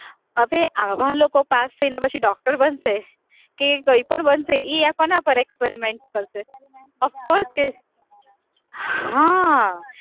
હવે આવા લોકો પાસ થઈને પછી doctor બનશે, કે કઈ પણ બનશે ઈ કોના પર experiment કરશે? of course હા